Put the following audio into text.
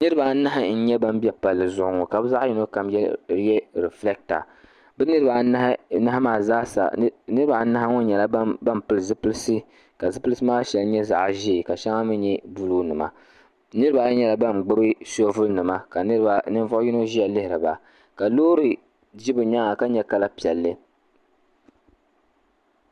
Niriba anahi n nyɛ ban be palli zuɣu ŋɔ ka bɛ zaɣa yino kam ye refilata bɛ niriba anahi maa zaasa niriba anahi ŋɔ nyɛlla ban pili zipilsi ka zipilsi maa sheŋa nyɛ zaɣa ʒee ka sheŋa mee nyɛ buluu nima niriba ayi nyɛla ban gbibi soobuli nima ka niriba ninvuɣu yino ʒia lihiriba ka loori ʒi bɛ nyaanga ka nyɛ kala piɛli.